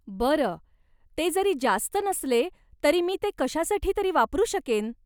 बरं, ते जरी जास्त नसले तरी मी ते कशासाठी तरी वापरू शकेन.